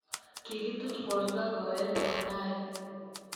Kigituuch boorto koeche kotaai